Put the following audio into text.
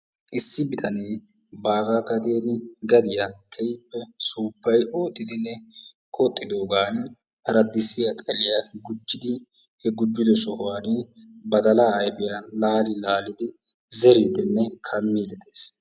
Issi bittane baaga gadiya, gadiyaa keehippe suupayi oottidinne qoxidoggan aradissiyaa xaliyaa gujidi he gujiddo sohuwaani badalla ayfiyaa laali laalidi zeriddinne kamiddi dees.